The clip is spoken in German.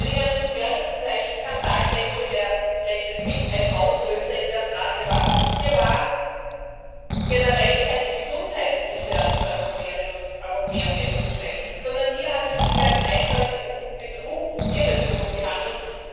Wenn ich an den Pferdefleischskandal denke, der vielleicht mit ein Auslöser in der Frage war Hier war generell keine Gesundheitsgefährdung der Europäerinnen und Europäer festzustellen, sondern hier hat es sich ganz eindeutig um Betrug, um Irreführung gehandelt.